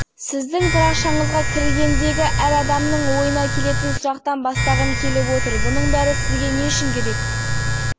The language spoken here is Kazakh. жай ермек үшін істелген нәрсе шыны керек бұл парақшаны испанияда демалып жүргенде ашқан болатынбыз біз свингерлікпен